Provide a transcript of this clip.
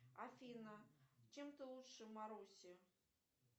афина чем ты лучше маруси